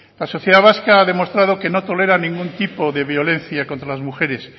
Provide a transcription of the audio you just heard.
la sociedad vasca ha demostrado que no tolera ningún tipo de violencia contra las mujeres